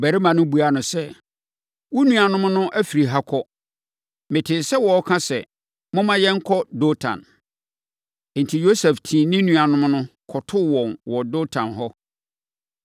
Ɔbarima no buaa no sɛ, “Wo nuammarimanom no afiri ha kɔ. Metee sɛ wɔreka sɛ, ‘Momma yɛnkɔ Dotan.’ ” Enti, Yosef tii ne nuanom no, kɔtoo wɔn wɔ Dotan hɔ.